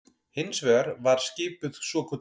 Hins vegar var skipuð svokölluð